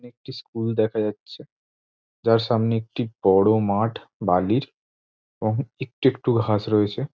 একটি স্কুল দেখা যাচ্ছে যার সামনে একটি বড় মাঠ বালির এবং একটু একটু ঘাস রয়েছে ।